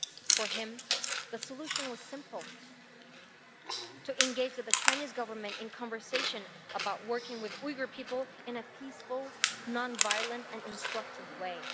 For him, the solution was simple to engage with the Chinese Government in conversation about working with Uyghur people in a peaceful, non violent and instructive way.